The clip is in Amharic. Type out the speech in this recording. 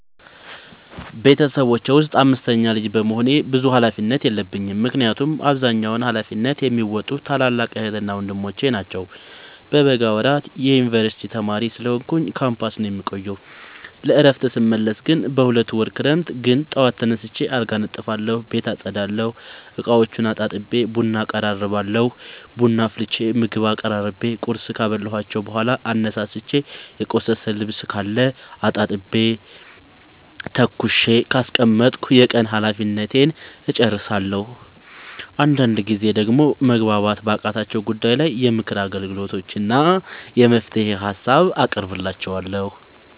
ቤተሰቦቼ ውስጥ አምስተኛ ልጅ በመሆኔ ብዙ ሀላፊነት የለብኝ ምክንያቱን አብዛኛውን ሀላፊነት የሚዎጡት ታላላቅ ዕህትና ወንድሞቼ ናቸው። በበጋ ወራት የዮንበርሲቲ ተማሪ ስለሆንኩኝ ካምፖስ ነው የምቆየው። ለእረፍት ስመለስ ግን ሁለት ወር ክረምት ግን ጠዋት ተነስቼ አልጋ አነጥፋለሁ ቤት አፀዳለሁ፤ እቃዎቹን አጣጥቤ ቡና አቀራርባለሁ ቡና አፍልቼ ምግብ አቀራርቤ ቁርስ ካበላኋቸው በኋላ አነሳስቼ። የቆሸሸ ልብስካለ አጣጥቤ ተኩሼ ካስቀመጥኩ የቀን ሀላፊነቴን እጨርሳለሁ። አንዳንድ ጊዜ ደግሞ መግባባት ባቃታቸው ጉዳይ ላይ የምክር አገልግሎት እና የመፍትሄ ሀሳብ አቀርብላቸዋለሁ።